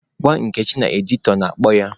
Gwa Nkechi na editọ na-akpọ ya.